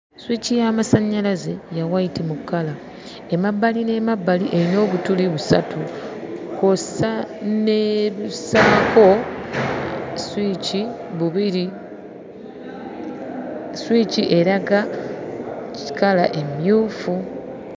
Sswici y'amasannyalaze ya wayiti mu kkala, emabbali n'emabbali erina obutuli busatu kw'ossa n'obussaako sswici bubiri. Sswici eraga kkala emmyufu.